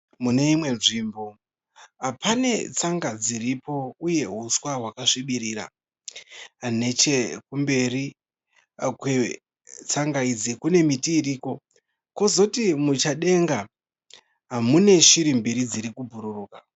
Muneimwe nzvimbo, panetsanga dziripo uye uswa hwakasvibirira. Nechekumberi kwetsanga idzi kunemiti iriko. Kozoti muchadenga muneshiri mbiri dzirikubhururuka.